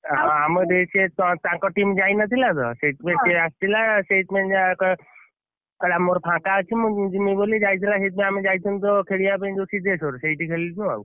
ଆମ ସିଏ ତାଙ୍କ team ଯାଇନଥିଲା ସେଇଥିପାଇଁ ସିଏ ଆସିଥିଲା ସେଇଥିପାଇଁ ଯା କହିଲା ମୋର ଫାଙ୍କା ଅଛି ମୁଁ ଜିମି ବୋଲି ଯାଇଥିଲା, ସେଇଥିପାଇଁ ଆମେ ଯାଇଥିଲୁ ତ ଖେଳିବା ପାଇଁ ସିଦ୍ଧେଶ୍ଵର ସେଇଠି ଖେଳୁଛୁ ଆଉ,